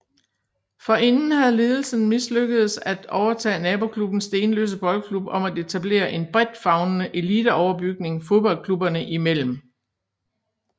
Forinden havde ledelsen mislykkedes at overtage naboklubben Stenløse Boldklub om at etablere en bredt favnende eliteoverbygning fodboldklubberne imellem